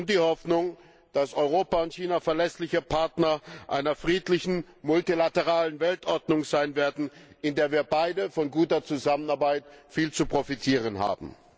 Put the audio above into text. Und die Hoffnung, dass Europa und China verlässliche Partner einer friedlichen, multilateralen Weltordnung sein werden, in der wir beide von guter Zusammenarbeit viel zu profitieren haben.